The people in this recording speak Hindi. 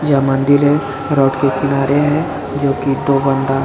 यह मंदिर है रोड के किनारे है जो की दो बंदा--